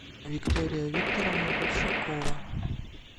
виктория викторовна большакова